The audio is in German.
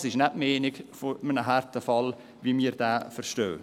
Das ist nicht die Meinung eines Härtefalles, wie wir ihn verstehen.